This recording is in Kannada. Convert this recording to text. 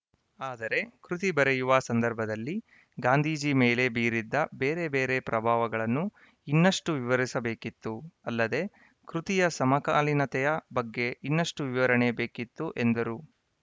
ಆದರೆ ಕೃತಿ ಬರೆಯುವ ಸಂದರ್ಭದಲ್ಲಿ ಗಾಂಧೀಜಿ ಮೇಲೆ ಬೀರಿದ ಬೇರೆ ಬೇರೆ ಪ್ರಭಾವಗಳನ್ನು ಇನ್ನಷ್ಟುವಿವರಿಸಬೇಕಿತ್ತು ಅಲ್ಲದೆ ಕೃತಿಯ ಸಮಕಾಲಿನತೆಯ ಬಗ್ಗೆ ಇನ್ನಷ್ಟುವಿವರಣೆ ಬೇಕಿತ್ತು ಎಂದರು